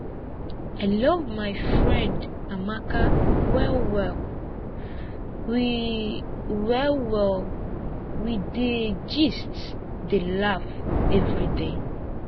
i love my friend amaka well well we well well we dey gist dey laugh everyday